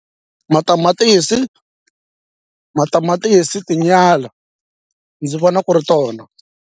Matamatisi matamatisi tinyala ndzi vona ku ri tona.